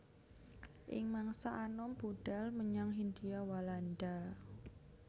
Ing mangsa anom budhal menyang Hindia Walanda